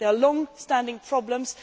There are long standing problems.